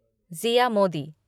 Zia Modi